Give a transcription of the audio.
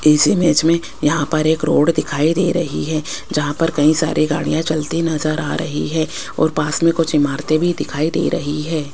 इस इमेज में यहां पर एक रोड दिखाई दे रही है जहां पर कई सारे गाड़ियां चलती नजर आ रही है और पास में कुछ इमारतें भी दिखाई दे रही है।